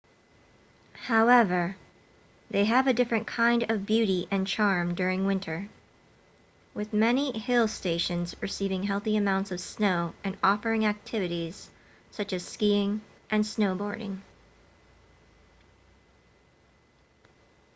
however they have a different kind of beauty and charm during winter with many hill stations receiving healthy amounts of snow and offering activities such as skiing and snowboarding